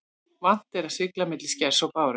Vant er að sigla milli skers og báru.